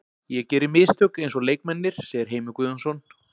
Ég geri mistök eins og leikmennirnir segir Heimir Guðjónsson.